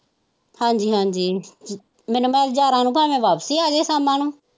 ਹਾਜੀ ਹਾਜੀ ਮੈਨੂੰ ਭਾਵੇ ਵਾਪਿਸੀ ਆ ਗਏ ਸ਼ਮਾ ਨੂੰ।